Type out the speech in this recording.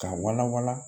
K'a wala wala